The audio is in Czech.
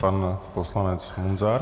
Pan poslanec Munzar.